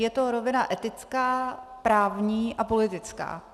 Je to rovina etická, právní a politická.